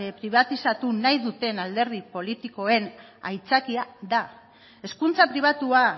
pribatizatu nahi duten alderdi politikoen aitzakia da hezkuntza pribatua